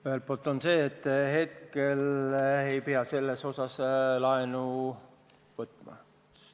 Ühelt poolt on see, et hetkel ei pea sellega seoses laenu võtma.